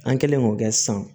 An kɛlen k'o kɛ sisan